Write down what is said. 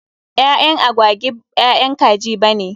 Ƴaƴan agwagi b ƴaƴan kaji bane.